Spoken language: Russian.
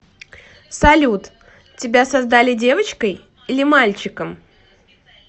салют тебя создали девочкой или мальчиком